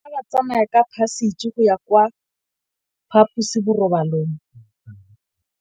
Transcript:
Bana ba tsamaya ka phašitshe go ya kwa phaposiborobalong.